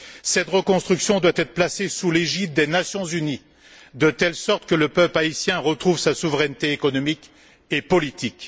Cette reconstruction doit être placée sous l'égide des Nations unies, de telle sorte que le peuple haïtien retrouve sa souveraineté économique et politique.